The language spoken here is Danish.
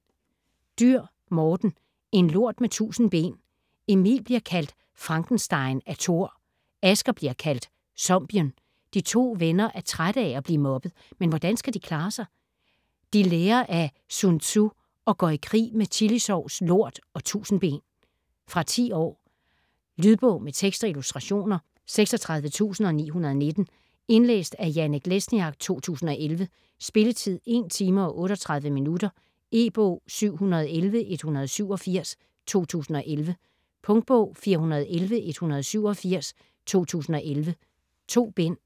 Dürr, Morten: En lort med tusind ben Emil bliver kaldt Frankenstein af Thor, Asger bliver kaldt Zombien. De to venner er trætte af at blive mobbet, men hvordan skal de klare sig? De lærer af Sun Tzu og går i krig med chilisovs, lort og tusindben. Fra 10 år. Lydbog med tekst og illustrationer 36919 Indlæst af Janek Lesniak, 2011. Spilletid: 1 timer, 38 minutter. E-bog 711187 2011. Punktbog 411187 2011. 2 bind.